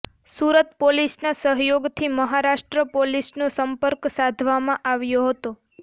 સુરત પોલીસના સહયોગથી મહારાષ્ટ્ર પોલીસનો સંપર્ક સાધવામાં આવ્યો હતો